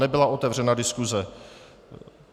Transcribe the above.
Nebyla otevřena diskuze.